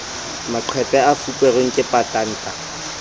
maqephe a fuperweng ke patanta